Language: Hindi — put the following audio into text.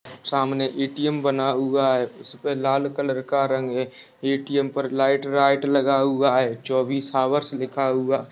सामने ए_टी_एम बना हुआ है उसमे लाल कलर का रंग है ए_टी_एम पर लाइट वाईट लगा हुआ है चोबिस अवर्स लिखा हुआ--